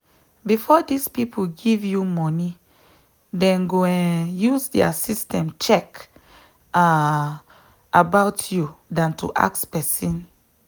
before this people give you moni them go um use their system check um about youthan to ask person